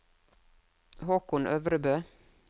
Haakon Øvrebø